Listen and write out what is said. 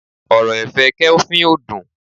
ọrọ ẹ̀fẹ̀ kelvin o dün